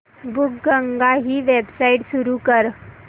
बुकगंगा ही वेबसाइट उघड